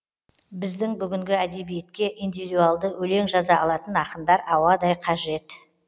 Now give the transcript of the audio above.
біздің бүгінгі әдебиетке индивидуалды өлең жаза алатын ақындар ауадай қажет